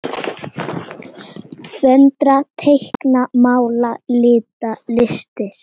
Föndra- teikna- mála- lita- listir